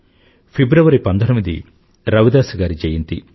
ఫిబ్రవరి19 రవిదాస్ గారి జయంతి